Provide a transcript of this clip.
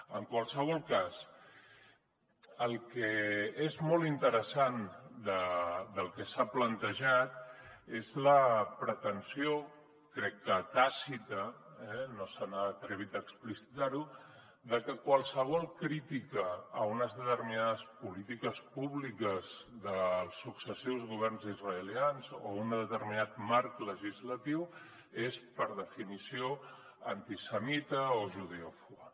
en qualsevol cas el que és molt interessant del que s’ha plantejat és la pretensió crec que tàcita no s’han atrevit a explicitar ho de que qualsevol crítica a unes determinades polítiques públiques dels successius governs israelians o a un determinat marc legislatiu és per definició antisemita o judeòfoba